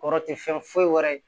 Kɔrɔ tɛ fɛn foyi wɛrɛ ye